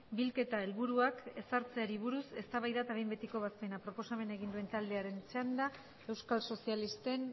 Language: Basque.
bilketa helburuak ezartzeari buruz eztabaida eta behin betiko ebazpena proposamena egin den taldearen txanda euskal sozialisten